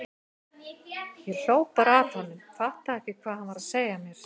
Ég hló bara að honum, fattaði ekki hvað hann var að segja mér.